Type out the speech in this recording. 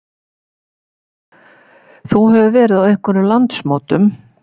Jóhannes: Þú hefur verið á einhverjum landsmótum?